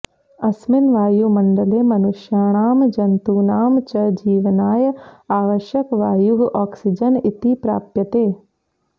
अस्मिन् वायुमण्डले मनुष्याणां जन्तूनां च जीवनाय आवश्यकवायुः ऑक्सीजन् इति प्राप्यते